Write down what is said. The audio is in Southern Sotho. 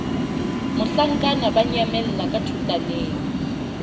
mohlankana ba nyamella ka thotaneng